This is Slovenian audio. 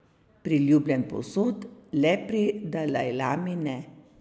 Priljubljen povsod, le pri dalajlami ne.